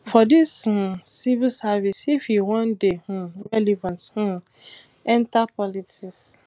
for dis um civil service if you wan dey um relevant um enta politics